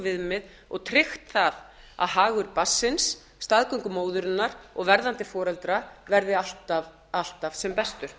viðmið og tryggt það að hagur barnsins staðgöngumóðurinnar og verðandi foreldra verði alltaf sem bestur